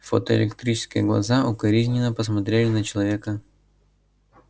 фотоэлектрические глаза укоризненно посмотрели на человека